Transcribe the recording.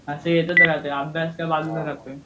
असं येतंच राहते अभ्यास तर बाजूलाच राहत.